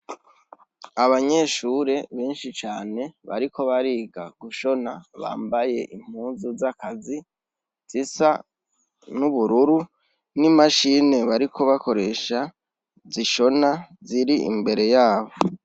Abanyeshure benshi cane bariko bariga gushona bambaye impuzu z'akazi zisa n'ubururu n'imashine bariko bakoresha zishona ziri imbere yabo.